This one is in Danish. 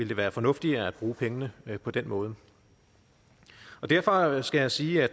være fornuftigt at bruge pengene på den måde derfor skal jeg sige at